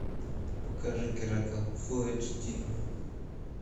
покажи геракл фулл эйч ди